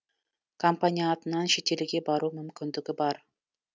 компания атынан шетелге бару мүмкіндігі бар